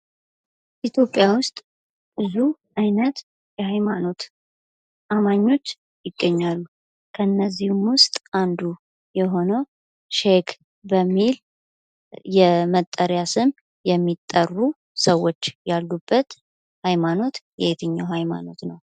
በኢትዮጵያ ውስጥ ብዙ አይነት የሐይማኖት አማኞች ይገኛሉ። ከእነዚህም ውስጥ አንዱ የሆነው ሼክ በሚል የመጠሪያ ስም የሚጠሩ ሰዎች ያሉበት ሐይማኖት የትኛው ሐይማኖት ነው?